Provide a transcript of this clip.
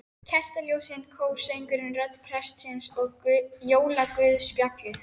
Kertaljósin, kórsöngurinn, rödd prestsins og jólaguðspjallið.